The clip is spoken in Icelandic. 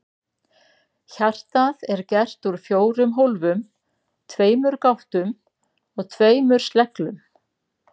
Hjartað er gert úr fjórum hólfum, tveimur gáttum og tveimur sleglum.